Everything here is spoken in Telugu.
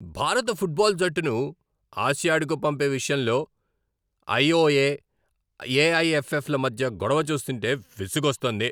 భారత ఫుట్బాల్ జట్టును ఆసియాడ్కు పంపే విషయంలో ఐఓఏ, ఏఐఎఫ్ఎఫ్ల మధ్య గొడవ చూస్తుంటే విసుగొస్తోంది.